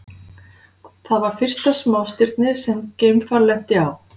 Það var fyrsta smástirnið sem geimfar lenti á.